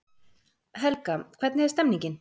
Helga, hvernig er stemningin?